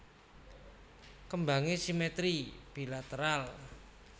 Kembangé simetri bilateral